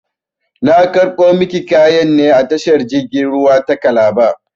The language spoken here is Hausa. Na karɓo maki kayan ne a tashar jirgin ruwa ta kalaba